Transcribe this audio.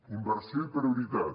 inversió i prioritat